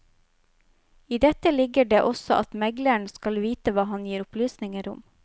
I dette ligger det også at megleren skal vite hva han gir opplysninger om.